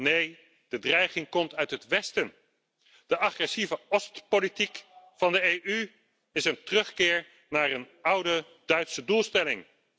Nee, de dreiging komt uit het westen. De agressieve Ost politiek van de EU is een terugkeer naar een oude Duitse doelstelling.